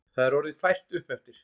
Það er orðið fært uppeftir.